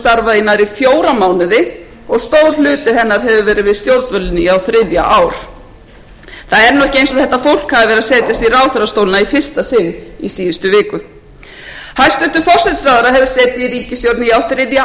starfað í fjóra mánuði og stór hluti hennar hefur verið við stjórnvölinn á um þriðja ár það er nú ekki eins og þetta fólk hafi verið að setjast í ráðherrastólana í fyrsta sinn í síðustu viku hæstvirtur forsætisráðherra hefur setið í ríkisstjórn í á þriðja